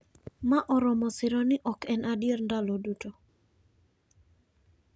Ma oromo siro ni ok en adier ndalo duto